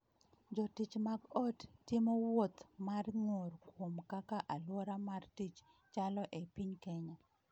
Jotich mag ot timo wuoth mar ng’ur kuom kaka aluora mar tich chalo e piny Kenya